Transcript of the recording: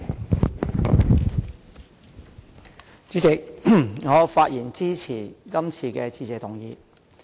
代理主席，我發言支持今天的致謝議案。